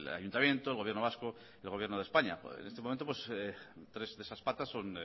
ayuntamiento el gobierno vasco y el gobierno de españa en este momento tres de esas patas son